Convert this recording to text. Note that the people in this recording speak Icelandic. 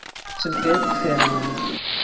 Sem betur fer amma mín.